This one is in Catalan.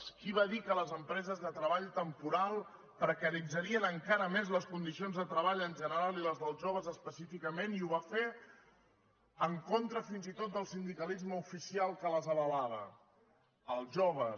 qui va dir que les empreses de treball temporal precaritzarien encara més les condicions de treball en general i les dels joves específicament i ho van fer en contra fins i tot del sindicalisme oficial que les avalava els joves